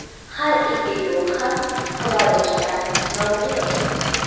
Har ikki gol ham himoyachilar nomiga yozildi.